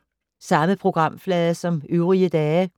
Samme programflade som øvrige dage